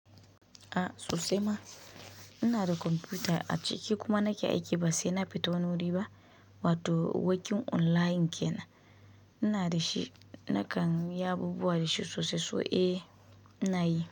A sosai ma. Ina da kwamfuta a ciki kuma nake aiki ba sai na fito wani wuri ba, wato working online kenan. Ina dashi, na kanyi abubuwa da shi sosai, so eh ina yi.